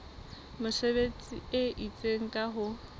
mesebetsi e itseng ka ho